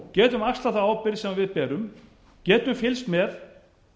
getum axlað þá ábyrgð sem við berum getum fylgst með